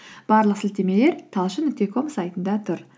барлық сілтемелер талшын нүкте ком сайтында тұр